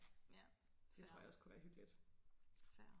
ja fair fair